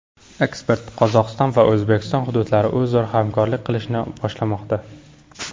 Ekspert: Qozog‘iston va O‘zbekiston hududlari o‘zaro hamkorlik qilishni boshlamoqda.